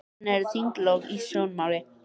Og hvenær eru þinglok í sjónmáli?